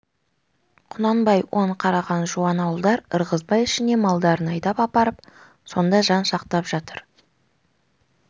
құнанбай оң қараған жуан ауылдар ырғызбай ішіне малдарын айдап апарып сонда жан сақтап жатыр